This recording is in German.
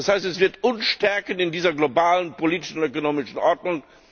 Das heißt Es wird uns stärken in dieser globalen politischen und ökonomischen Ordnung.